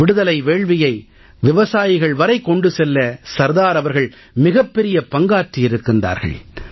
விடுதலை வேள்வியை விவசாயிகள் வரை கொண்டு செல்ல சர்தார் அவர்கள் மிகப் பெரிய பங்காற்றியிருக்கிறார்கள்